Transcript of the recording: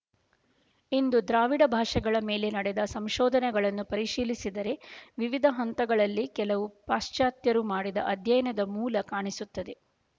ಇಂದು ದ್ರಾವಿಡ ಭಾಷೆಗಳ ಮೇಲೆ ನಡೆದ ಸಂಶೋಧನೆಗಳನ್ನು ಪರಿಶೀಲಿಸಿದರೆ ವಿವಿಧ ಹಂತಗಳಲ್ಲಿ ಹಲವು ಪಾಶಚಾತ್ಯರು ಮಾಡಿದ ಅಧ್ಯಯನದ ಮೂಲ ಕಾಣಿಸುತ್ತದೆ